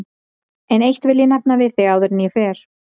En eitt vil ég nefna við þig áður en ég fer.